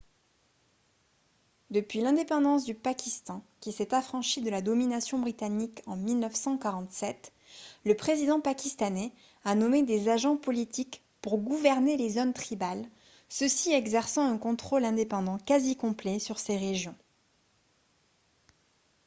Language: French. depuis l'indépendance du pakistan qui s'est affranchi de la domination britannique en 1947 le président pakistanais a nommé des « agents politiques » pour gouverner les zones tribales ceux-ci exerçant un contrôle indépendant quasi complet sur ces régions